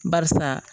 Barisa